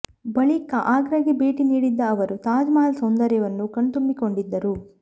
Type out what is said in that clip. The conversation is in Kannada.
ಬಳಿಕ ಆಗ್ರಾಗೆ ಭೇಟಿ ನೀಡಿದ್ದ ಅವರು ತಾಜ್ ಮಹಲ್ ಸೌಂದರ್ಯವನ್ನು ಕಣ್ತುಂಬಿಕೊಂಡಿದ್ದರು